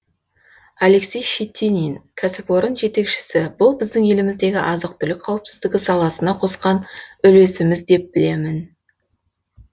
алексей щетинин кәсіпорын жетекшісі бұл біздің еліміздегі азық түлік қауіпсіздігі саласына қосқан үлесіміз деп білемін